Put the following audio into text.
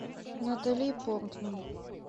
натали портман